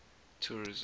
tourism